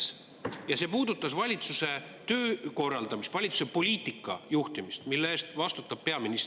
See küsimus puudutas valitsuse töö korraldamist, valitsuse poliitika juhtimist, mille eest vastutab peaminister.